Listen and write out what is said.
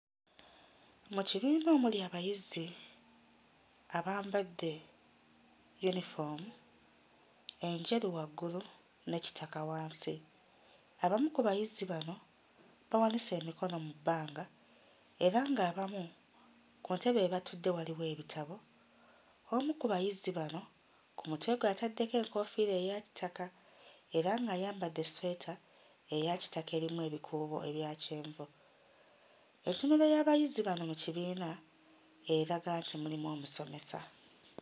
Mu kibiina omuli abayizi abambadde yunifoomu enjeru waggulu ne kitaka wansi. Abamu ku bayizi bano bawanise emikono mu bbanga era ng'abamu ku ntebe we batudde waliwo ebitabo, omu ku bayizi bano ku mutwe gwe ataddeko enkoofiira eya kitaka era ng'ayambadde essweta eya kitaka erimu ebikuubo ebya kyenvu. Entunula y'abayizi bano mu kibiina eraga nti mulimu omusomesa.